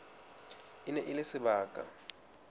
e ne e le sebaka